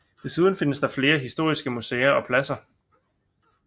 Desuden findes der flere historiske museer og pladser